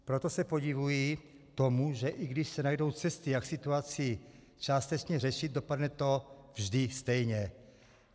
Proto se podivuji tomu, že i když se najdou cesty, jak situaci částečně řešit, dopadne to vždy stejně.